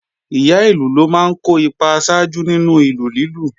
Ìyá ìlù ló máa ń kó ipa aṣáájú nínú ìlù lílù